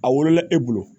A wolola e bolo